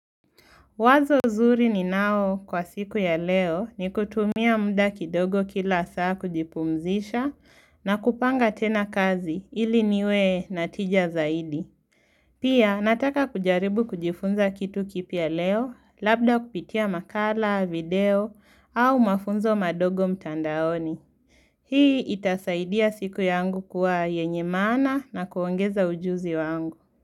Wazo zuri ninao kwa siku ya leo ni kutumia muda kidogo kila saa kujipumzisha na kupanga tena kazi ili niwe na tija zaidi. Pia nataka kujaribu kujifunza kitu kipya leo labda kupitia makala, video au mafunzo madogo mtandaoni. Hii itasaidia siku yangu kuwa yenye maana na kuongeza ujuzi wangu.